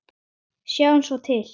Sjáum svo til.